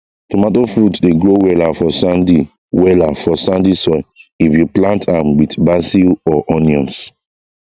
tomato fruit dey grow wella for sandy wella for sandy soil if you plant am with basil or onions